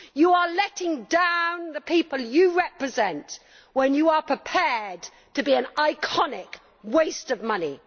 You are letting down the people you represent when you are prepared to be an iconic waste of money.